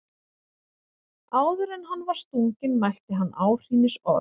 Áður en hann var stunginn mælti hann áhrínisorð.